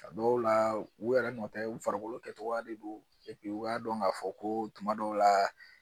A dɔw la u yɛrɛ nɔtɛ u farikolo kɛcogoya de do u k'a dɔn k'a fɔ ko tuma dɔw la